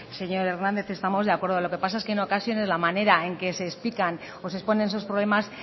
señor hernández estamos de acuerdo lo que pasa en que en ocasiones la manera en que se explican o se exponen sus problemas